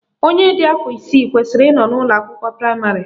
Onye dị afọ isii kwesịrị ị nọ na ụlọakwụkwọ praịmarị